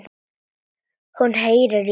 Hún heyrir í lóu.